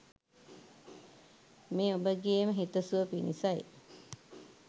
මේ ඔබගේම හිත සුව පිණිසයි.